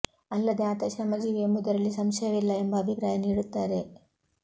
ಅಲ್ಲದೆ ಆತ ಶ್ರಮ ಜೀವಿ ಎಂಬುದರಲ್ಲಿ ಸಂಶಯವಿಲ್ಲ ಎಂಬ ಅಭಿಪ್ರಾಯ ನೀಡುತ್ತಾರೆ